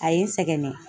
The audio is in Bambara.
A ye n sɛgɛn